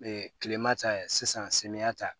kilema ta sisan samiyɛ ta